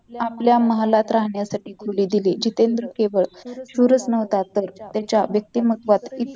आपल्या महालात राहण्यासाठी खोली दिली जितेंद्र केवळ शूरच न्हवता तर त्याच्या वक्तिमत्वात